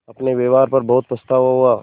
अपने व्यवहार पर बहुत पछतावा हुआ